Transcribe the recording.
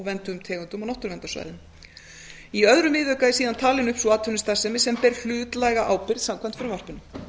vernduðum tegundum og náttúruverndarsvæðum í öðrum viðauka er síðan talin upp sú atvinnustarfsemi sem ber hlutlæga ábyrgð samkvæmt frumvarpinu